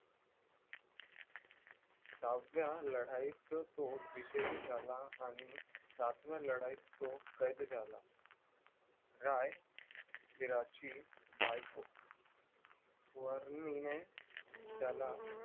सहाव्या लढाईत तो विजयी झाला आणि सातव्या लढाईत तो कैद झाला राय वीराची बायको स्वर्णीने त्याला